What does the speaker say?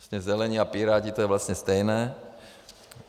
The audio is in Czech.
Zelení a Piráti, to je vlastně stejné.